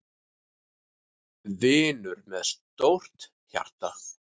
Vinur með stórt hjarta.